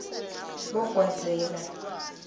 bogwazela